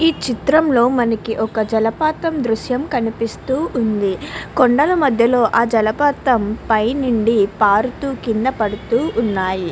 ఈ చిత్రం లో మనకి ఒక జలపాతం దృశ్యం కనిపిస్తూ ఉంది. కొండల మధ్యలో ఆ జలపాతం పైన నుండి జారుతూ పడుతూ ఉన్నాయి.